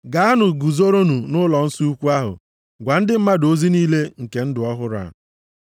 “Gaanụ, guzoronụ nʼụlọnsọ ukwu ahụ gwa ndị mmadụ ozi niile nke ndụ ọhụrụ a.”